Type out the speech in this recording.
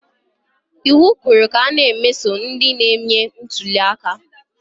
Iwu kwuru ka a na-emeso ndị na-eme ntuliaka